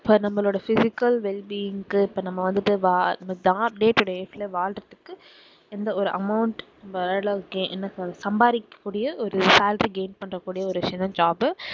இப்போ நம்மளோட physical well being க்கு இப்போ நம்ம வந்துட்டு வா~ day to day life ல வாழுறதுக்கு எந்த ஒரு amount என்ன சொல்றது சம்பாதிக்ககூடிய ஒரு salary gain பண்ண கூடிய ஒரு விஷயம் தான் job உ